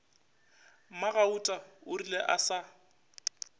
mmagauta o rile a sa